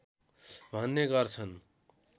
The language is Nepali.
भन्ने गर्छन्